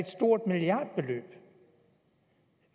stort milliardbeløb